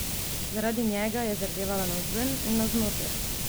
Zaradi njega je zardevala navzven in navznoter!